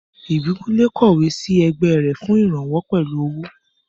Ìbíkúnlé kọ̀wé sí ẹgbẹ́ rẹ̀ fún ìrànwọ́ pẹ̀lú owó